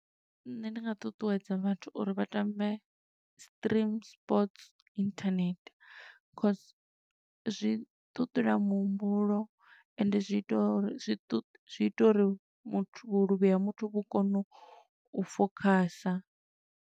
Nṋe ndi nga ṱuṱuwedza vhathu uri vha tambe Stream Sports Internet, cause zwi ṱuṱula muhumbulo, ende zwi ita uri zwi ṱu, zwi ita uri muthu vhuluvhi ha muthu vhu kone u fokhasa.